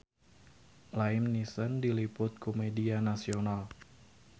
Liam Neeson diliput ku media nasional